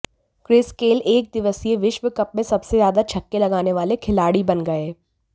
Chris Gayle एकदिवसीय विश्व cup में सबसे ज्यादा छक्के लगाने वाले खिलाड़ी बन गए